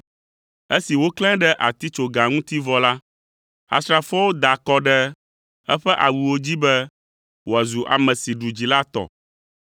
Esi woklãe ɖe atitsoga ŋuti vɔ la, asrafoawo da akɔ ɖe eƒe awuwo dzi be wòazu ame si ɖu dzi la tɔ.